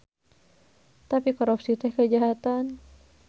Tapi korupsi teh kajahatan.